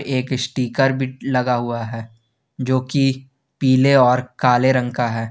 एक स्टीकर भी लगा हुआ है जो की पीले और काले रंग का है।